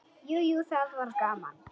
Jú, jú, það var gaman.